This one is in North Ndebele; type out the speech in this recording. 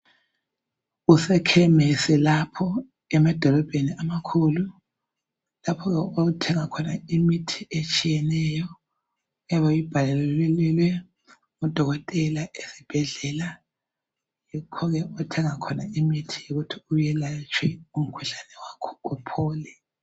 Kusekhemisi lapho emadolobheni amakhulu. Lapho othenga khona imithi etshiyeneyo oyabe uyibhalelwe ngudokotela esibhedlela. Yikho ke othenga khona imithi ukuthi uyelatshwe umkhuhlane wakho uphole.